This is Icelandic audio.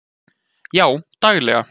Já daglega.